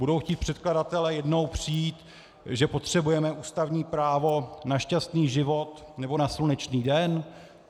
Budou chtít předkladatelé jednou přijít, že potřebujeme ústavní právo na šťastný život nebo na slunečný den?